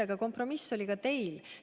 Aga kompromiss oli ka teil.